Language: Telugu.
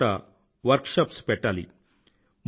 ప్రతి చోటా వర్క్ షాప్స్ పెట్టాలి